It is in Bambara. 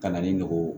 Ka na ni n ko